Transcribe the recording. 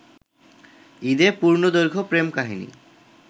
ঈদে পূর্ণদৈর্ঘ্য প্রেম কাহিনী